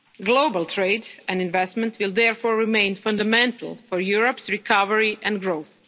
Global trade and investment will therefore remain fundamental for Europe's recovery and growth.